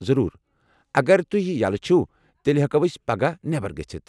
ضروٗر، اگر تُہۍ یلہٕ چُھو تیٚلہ ہٮ۪کو أسۍ پگاہ نٮ۪بر گٔژھِتھ ۔